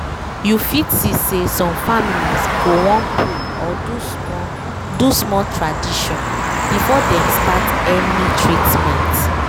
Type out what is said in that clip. you fit see say some families go wan pray or do small do small tradition before dem start any treatment